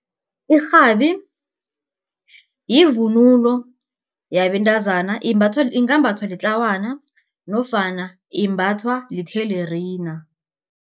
Irhabi yivunulo yebantazana ingambathwa litlawana nofana imbathwa lithelerina.